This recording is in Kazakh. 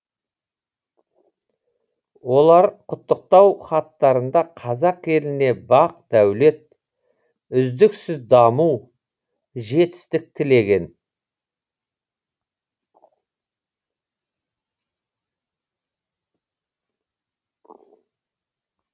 олар құттықтау хаттарында қазақ еліне бақ дәулет үздіксіз даму жетістік тілеген